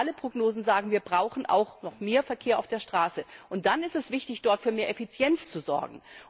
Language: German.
Aber alle Prognosen sagen, wir brauchen auch noch mehr Verkehr auf der Straße. Und dann ist es wichtig, dort für mehr Effizienz zu sorgen.